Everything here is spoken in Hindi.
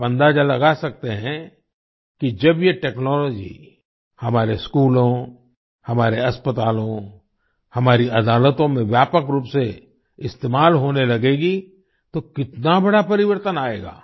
आप अंदाजा लगा सकते हैं कि जब ये टेक्नोलॉजी हमारे स्कूलों हमारे अस्पतालों हमारी अदालतों में व्यापक रूप से इस्तेमाल होने लगेगी तो कितना बड़ा परिवर्तन आएगा